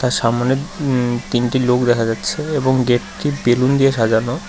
সামনে উম তিনটি লোক দেখা যাচ্ছে এবং গেট -টি বেলুন দিয়ে সাজানো।